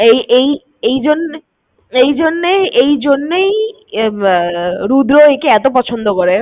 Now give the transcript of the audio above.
এই এই এই জন্যেই এই জন্যেই রুদ্র একে এতো পছন্দ করে।